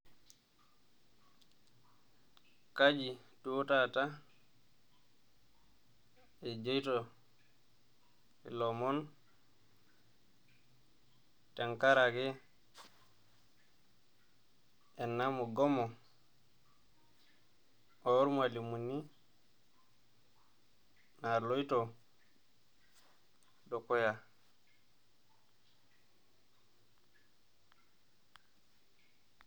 Kaji duoo taata ejoito ilomon tenkaraki ena mugomo oormwalimuni naloito dukuya?